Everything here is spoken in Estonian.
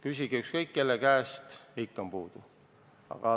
Küsige ükskõik kelle käest, ikka on puudu.